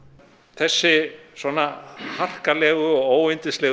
þessi svona harkalegu og